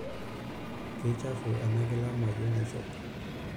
Keichafu ena kila mayieu naishop.